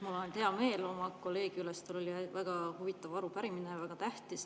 Mul on hea meel oma kolleegi üle, sest tal oli väga huvitav arupärimine, väga tähtis.